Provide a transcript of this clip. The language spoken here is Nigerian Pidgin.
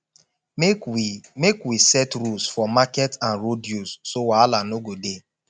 make we make we set rules for market and road use so wahala no go dey